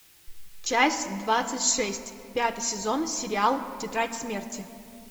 часть двадцать шесть пятый сезон сериал тетрадь смерти